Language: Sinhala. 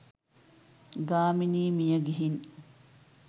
ගාමිණී මියගිහින්.